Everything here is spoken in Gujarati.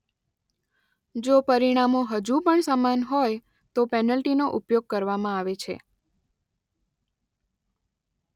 જો પરિણામો હજુ પણ સમાન હોય તો પેનલ્ટીનો ઉપયોગ કરવામાં આવે છે.